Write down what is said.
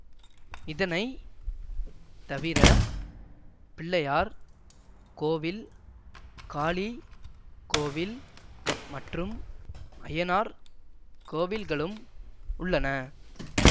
இதனை தவிர பிள்ளையார் கோவில் காளி கோவில் மற்றும் ஐயனார் கோவில்களும் உள்ளன